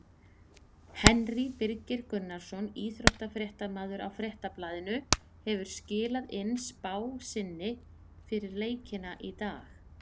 Henry Birgir Gunnarsson, íþróttafréttamaður á Fréttablaðinu hefur skilað inn spá sinni fyrir leikina í dag.